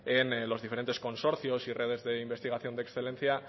en los diferentes consorcios y redes de investigación de excelencia